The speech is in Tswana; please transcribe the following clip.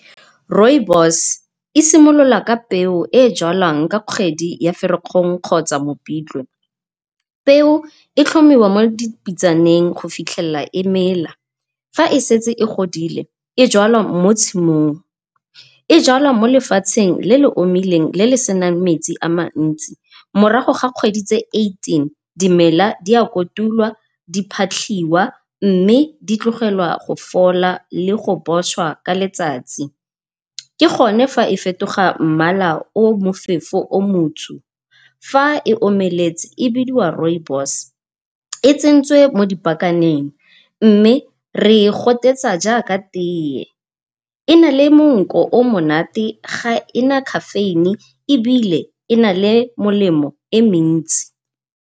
Rooibos e simolola ka peo e e jalwang ka kgwedi ya Ferikgong kgotsa Mopitlwe. Peo e tlhomiwa mo dipitsaneng go fitlhelela e mela, fa e setse e godile e jalwa mo tshimong. E jalwa mo lefatsheng le le omileng le le senang metsi a mantsi, morago ga kgwedi tse eighteen, dimela di a kotulwa, di phatlhiwa mme di tlogelwa go fola le go poswa ka letsatsi. Ke gone ga e fetoga mmala o mofefo o motsho, fa e omeletse e bidiwa rooibos e tsentswe mo dipakaneng mme re e gotetsa jaaka teye. E na le monko o o monate, ga ena caffeine ebile e na le molemo e mentsi.